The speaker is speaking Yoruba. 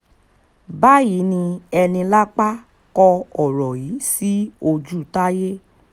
báyìí ni enílápà kọ ọ̀rọ̀ yìí sí ojútáyé